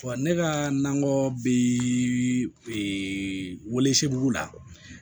ne ka nakɔ bi welesebugu la